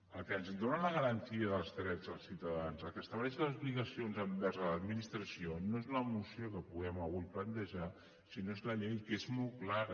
el que ens dóna la garantia dels drets dels ciutadans el que estableix les obligacions envers l’administració no és la moció que puguem avui plantejar sinó que és la llei que és molt clara